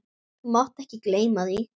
Þú mátt ekki gleyma því!